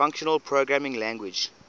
functional programming language